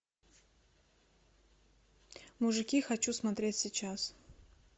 мужики хочу смотреть сейчас